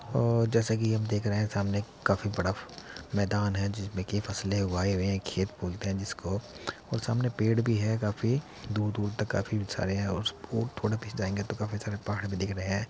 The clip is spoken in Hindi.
अ जैसे कि हम देख रहे हैं सामने काफी बड़ा मैदान है जिसमें की फसलें उगाई गई हैं खेत बोलते हैं जिसको और सामने पेड़ भी हैं काफी दूर-दूर तक काफी सारे हैं और उसका थोड़ा दूर जाएंगे तो काफी सारे पहाड़ भी दिख रहे हैं।